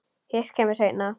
Hitt kemur seinna.